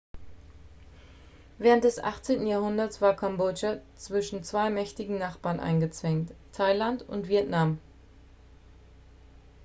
während des 18. jahrhunderts war kambodscha zwischen zwei mächtigen nachbarn eingezwängt thailand und vietnam